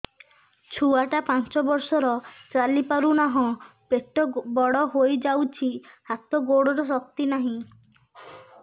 ଛୁଆଟା ପାଞ୍ଚ ବର୍ଷର ଚାଲି ପାରୁନାହଁ ପେଟ ବଡ ହୋଇ ଯାଉଛି ହାତ ଗୋଡ଼ର ଶକ୍ତି ନାହିଁ